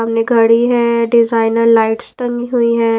हमने गाड़ी है डिजाइनर लाइट्स तंग्गी हुई है।